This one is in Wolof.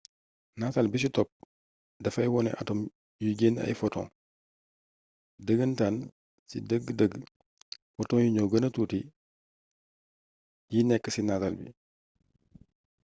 nataal bi ci topp dafay wone atom yuy génnee ay photons dëgëntaan ci dëgg-dëgg photons yi ñoo gëna tuuti yi nekk ci nataal bi